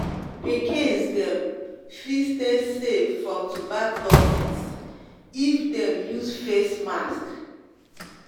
pikins dem fit stay safe from turbaclosis if dem turbaclosis if dem use face mask